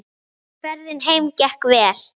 Ferðin heim gekk vel.